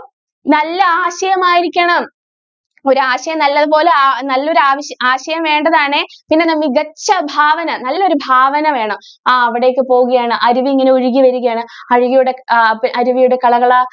നല്ല ആശയം ആയിരിക്കണം ഒരു ആശയം നല്ലത് പോലെ നല്ലൊരു ആശയം വേണ്ടതാണ് പിന്നെ മികച്ച ഭാവന നല്ലൊരു ഭാവന വേണം ആ അവിടേയ്ക്ക് പോവുകയാണ് അരുവി ഇങ്ങനെ ഒഴുകി വരുകയാണ് അരുവിയുടെ ആഹ് കള കള